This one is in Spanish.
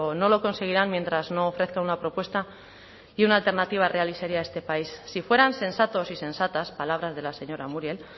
no lo conseguirán mientras no ofrezca una propuesta y una alternativa real y seria a este país si fueran sensatos y sensatas palabras de la señora muriel